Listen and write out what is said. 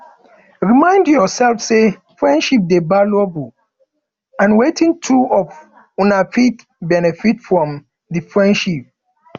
remind yourself sey friendship dey valuable and wetin two of una fit benefit from di friendship